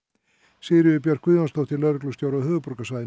Sigríður Björk Guðjónsdóttir lögreglustjóri á höfuðborgarsvæðinu